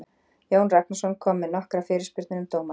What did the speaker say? Jón Ragnarsson kom með nokkrar fyrirspurnir um dómaramál.